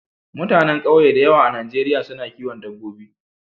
Mutanen ƙauye da yawa a Najeriya su na kiwon dabbobi.